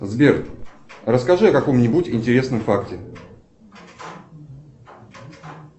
сбер расскажи о каком нибудь интересном факте